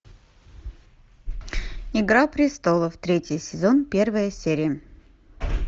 игра престолов третий сезон первая серия